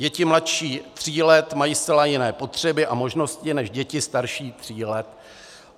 Děti mladší tří let mají zcela jiné potřeby a možnosti než děti starší tří let.